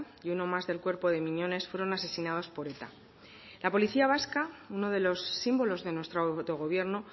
y uno más del cuerpo de miñones fueron asesinados por eta la policía vasca uno de los símbolos de nuestro autogobierno